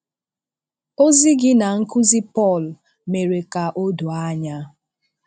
Ozi gi na nkụzi Pọl mèrè ka o doo anya.